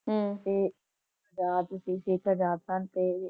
ਹਮਮ ਤੇ ਆਜ਼ਾਦ ਸੀ ਚੰਦਰ ਸ਼ੇਖਰ ਅਜਾਦ ਸਨ ਤੇ